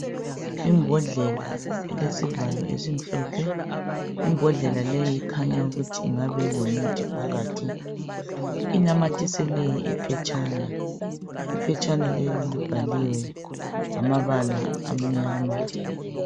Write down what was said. Imbodlela elesivalo esimhlophe. Imbodlela leyi ikhanya ukuthi ingabe ilomuthi phakathi. Inamathiselwe iphetshana, iphetshana leli libhaliwe ngamabala amnyama.